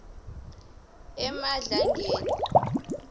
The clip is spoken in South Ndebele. emadlangeni